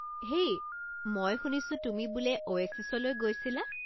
হেই, মই শুনিছোঁ তুমি বোলে অ'ৱেছিছলৈ গৈছিলা।